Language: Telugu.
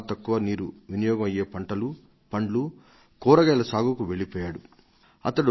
చెరకు కాకుండా పండ్లు కాయగూరల వంటి ఎంతో తక్కువ నీరు ఉపయోగించుకొనే పంటలను వేస్తున్నారు